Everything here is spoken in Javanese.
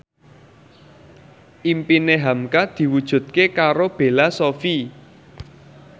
impine hamka diwujudke karo Bella Shofie